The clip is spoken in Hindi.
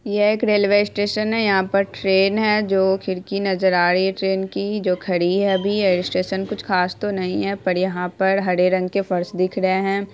यह एक रेलवे स्टेशन है। यहां पर ट्रेन है जो खिड़की नजर आ रही है ट्रेन की जो खड़ी है अभी यह स्टेशन कुछ ख़ास तो नहीं है पर यहाँ पर हरे रंग के फर्श दिख रहे हैं।